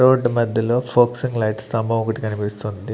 Road మద్యలో focusing light స్థంభం ఒకటి కనిపిస్తుంది.